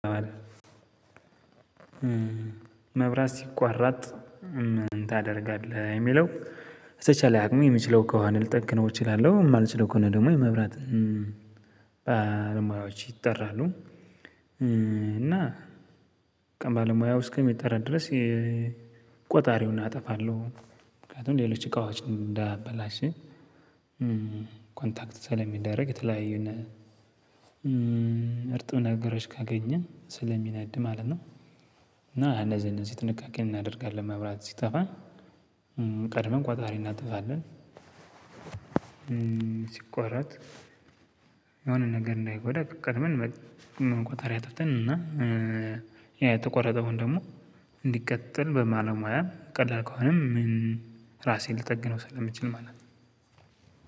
መብራት ሲቋራጥ ምን ታደርጋለህ? የሚለው በተቻለ አቅሜ የምችለው ከሆነ ልጠግነው እችላለሁ የማልችለው ከሆነ ደግሞ የመብራት ባለሙያዎች ይጠራሉ። እና በቃ ባለሙያው እስከሚጠራ ድረስ ቆጣሪውን አጠፋለሁ። ምክንያቱም ሌሎች እቃዎችን እንዳያበላሽ። ኮንታክት ስለሚደረግ የተለያዩ ነው እርጥብ ነገሮች ካገኘ ስለሚነድ ማለት ነው። እና እነዚህ እነዚህ ጥንቃቄ እናደርጋለን መብራት ሲጠፋ ቀድመን ቆጣሪ እናጠፋለን። ሲቆረጥ የሆነ ነገር እንዳይጎዳ ቀድመን ቆጣሪ አጥፍተን እና ያ የተቆረጠውን ደግሞ እንዲቀጥል በማለሙያ ቀላል ከሆነ ምን ራሴን ልጠግነው ስለምችል ማለት ነው።